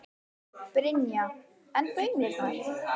Brynja: En baunirnar?